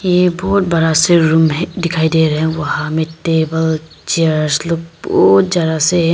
ये बहोत बड़ा सा रूम है दिखाई दे रहा है वहां में टेबल चेयर्स लोग बहोत ज्यादा से हैं।